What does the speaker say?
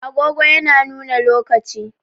Agogo yana nuna lokaci.